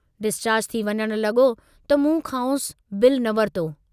Discharge थी वञण लगो त मूं खांउसि बिलु न वरितो।